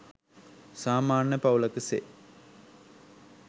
සාමාන්‍ය පවුලක සේ